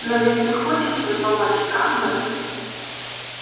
но ведь ты хочешь им помочь правда